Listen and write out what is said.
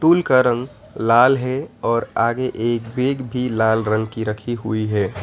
Stool का रंग लाल है और आगे एक बैग भी लाल रंग की रखी हुई है।